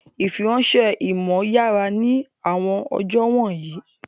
Ìfiránṣẹ́ ìmọ̀ yára ní àwọn ọjọ́ wọ̀nyí